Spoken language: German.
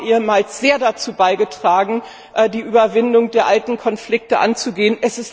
Sie haben ehemals sehr dazu beigetragen, die Überwindung der alten Konflikte anzugehen.